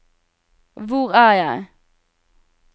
hvor er jeg